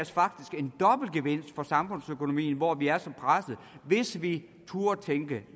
faktisk en dobbelt gevinst for samfundsøkonomien hvor vi er så pressede hvis vi turde tænke